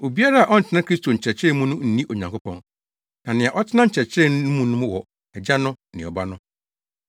Obiara a ɔntena Kristo nkyerɛkyerɛ mu no nni Onyankopɔn. Na nea ɔtena nkyerɛkyerɛ no mu no wɔ Agya no ne Ɔba no.